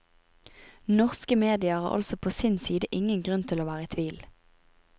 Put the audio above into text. Norske medier har altså på sin side ingen grunn til å være i tvil.